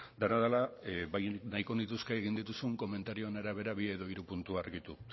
dena dela bai nahiko nituzke egin dituzun komentarioen arabera bi edo hiru puntu argitu